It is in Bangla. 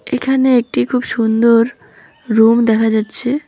এখানে একটি খুব সুন্দর রুম দেখা যাচ্ছে।